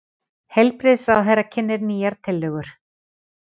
Heilbrigðisráðherra kynnir nýjar tillögur